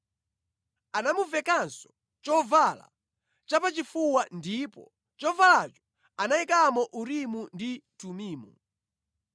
Anamuvekanso chovala chapachifuwa ndipo mʼchovalacho anayikamo Urimu ndi Tumimu.